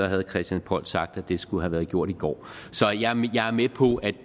herre christian poll sagt at det skulle have været gjort i går så jeg er med på at